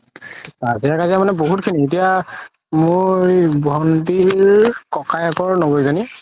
কাজিয়াই কাজিয়া মানে বহুত খিনি এতিয়া মোৰ ভন্তিৰ ককায়েকৰ জনি